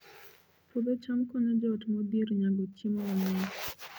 Puodho cham konyo joot modhier nyago chiemo mang'eny